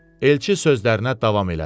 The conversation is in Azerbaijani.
Elçi sözlərinə davam elədi.